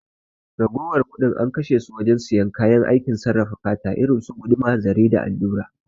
Ragowar kuɗin an kashe su wajen siyan kayan aikin sarrafa fata irinsu guduma, zare da allura